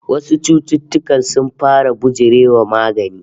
Wasu cututtukan sun fara bijire wa magani